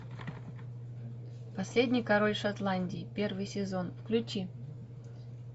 последний король шотландии первый сезон включи